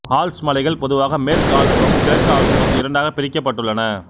Alps மலைகள் பொதுவாக மேற்கு ஆல்ப்ஸ் எனவும் கிழக்கு ஆல்ப்ஸ் எனவும் இரண்டாகப் பிரிக்கப்பட்டுள்ளன